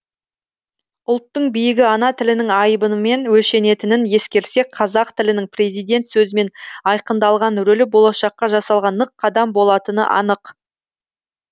ұлттың биігі ана тілінің айбынымен өлшенетінін ескерсек қазақ тілінің президент сөзімен айқындалған рөлі болашаққа жасалған нық қадам болатыны анық